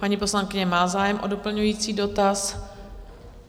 Paní poslankyně má zájem o doplňující dotaz.